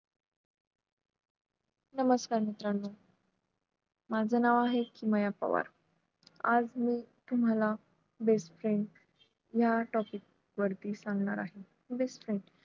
नमस्कार मित्रांनू माझं नाव आहे किमया पवार आज मी तुम्हाला best friend ह्या topic वरती सांगणार आहे best friend